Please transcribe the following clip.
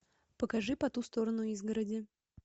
покажи по ту сторону изгороди